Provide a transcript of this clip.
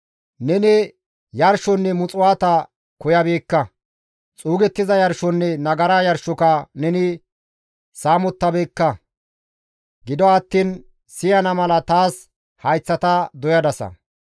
Neni yarshonne muxuwaata koyabeekka; xuuggiza yarshonne nagara yarshoka neni saamottabeekka; gido attiin siyana mala taas hayththata doyadasa.